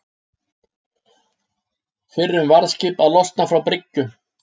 Fyrrum varðskip að losna frá bryggju